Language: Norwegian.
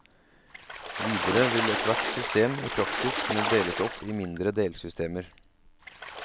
Videre vil ethvert system i praksis kunne deles opp i mindre delsystemer.